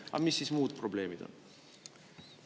Aga mis siis muud probleemid on?